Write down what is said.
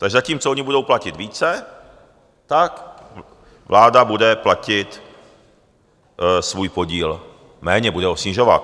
Takže zatímco oni budou platit více, tak vláda bude platit svůj podíl méně, bude ho snižovat.